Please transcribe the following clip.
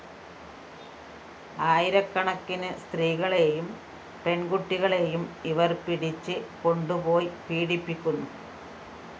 ആയിരക്കണക്കിന് സ്ത്രീകളെയും പെണ്‍കുട്ടികളെയും ഇവര്‍ പിടിച്ച് കൊണ്ടുപോയി പീഡിപ്പിക്കുന്നു